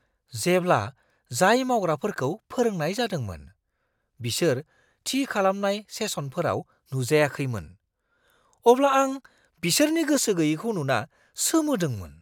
जेब्ला जाय मावग्राफोरखौ फोरोंनाय जादोंमोन बिसोर थि खालामनाय सेसनफोराव नुजायाखैमोन, अब्ला आं बिसोरनि गोसो गैयैखौ नुना सोमोदोंमोन।